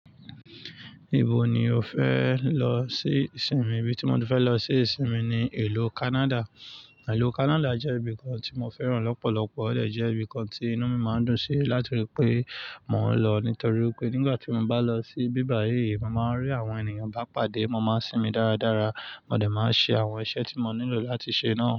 Ibo ni o fẹ lọ sí ìsinmi? Ibi tí mo ti fẹ lọ sí ìsinmi ni ìlú Canada. Ìlú Canada jẹ́ ibìkan tí mo fẹ́ràn lọ́pọ̀lọpọ̀, ó dè jẹ́ ibìkan tí inú mi má ń dùn sí láti rí pé mò ń lọ nítorí pé nígbà tí mo bá lọ sí ibíbà yìí, ma màá rí àwọn ènìyàn bá pàdé, ma máa ń sinmi dáradára, ma dè máa ṣe àwọn iṣẹ́ tí mo nílò láti ṣe náà.